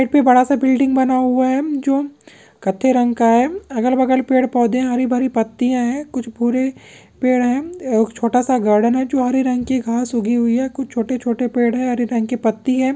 यहां पे बड़ा सा बिल्डिंग बना हुआ है जो कत्थे रंग का है अगल बगल पेड़ पौधे हरि भरी पत्तियां है कुछ भूरे पेड़ है छोटा सा गार्डन है जो हरे रंग की घास उगी हुई है कुछ छोटे छोटे पेड़ है हरे रंग की पत्ती है।